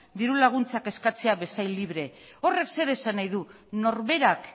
dirulaguntzak eskatzea bezain libre horrek zer esan nahi du norberak